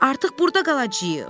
Artıq burda qalacağıq.